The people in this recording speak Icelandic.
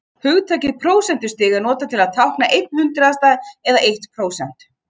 Hugtakið prósentustig er notað til að tákna einn hundraðasta eða eitt prósent.